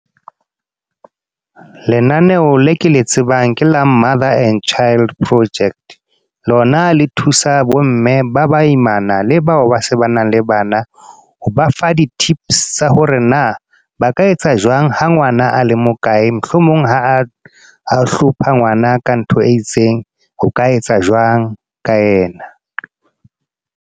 Lenaneo le ke le tsebang, ke la Mother and Child Project. Lona le thusa bo mme ba baimana, le bao ba se ba nang le bana. Ho ba fa di-tips tsa hore na ba ka etsa jwang ha ngwana a le mokae. Mohlomong ha a, a hlopha ngwana ka ntho e itseng. O ka etsa jwang ka yena.